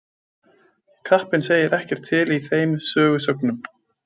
Kappinn segir ekkert til í þeim sögusögnum.